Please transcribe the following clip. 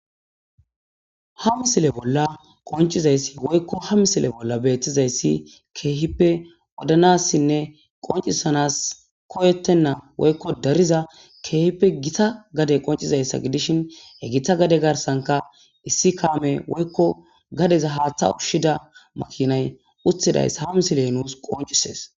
Ha misile bolla qoncizayssi woykko ha misile bolla beettizayssi keehippe odanassinne qoncisanas koyettenna woykko dariza keehippe gita gade qoncizayssa gidishin hegetha gade garsanka issi kaame woykko gadeza haaththa ushshida makinay uthidaysa ha misiley nuus qoncisees.